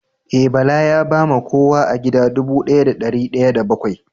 Eh, Bala ya ba ma kowa a gida dubu daya da dari daya da bakwai